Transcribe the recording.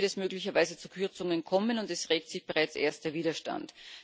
Hier wird es möglicherweise zu Kürzungen kommen, und es regt sich bereits erster Widerstand.